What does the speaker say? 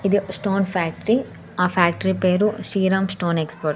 ఇది ఒక stone factory ఆ ఫ్యాక్టరీ పేరు శ్రీరామ్ స్టోన్స్ ఎక్స్పోర్ట్ .